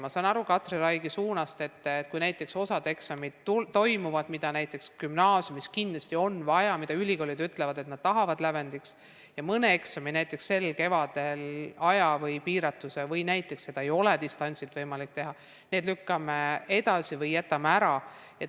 Ma sain Katri Raigi küsimuse suunast aru, et kui näiteks osa eksameid toimub, need, mida gümnaasiumis kindlasti on vaja, mille kohta ülikoolid ütlevad, et nad tahavad neid lävendiks, aga näiteks sel kevadel aja piiratuse tõttu seda ei saa või ei ole distantsilt võimalik teha, siis need lükkame edasi või jätame ära.